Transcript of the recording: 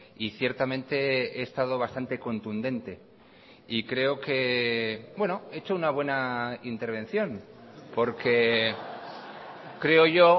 y ciertamente he estado bastante contundente y creo que he hecho una buena intervención porque creo yo